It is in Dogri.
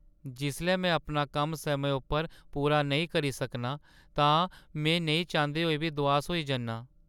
जिसलै में अपना कम्म समें उप्पर पूरा नेईं करी सकनां तां में नेईं चांह्दे होई बी दुआस होई जन्नां।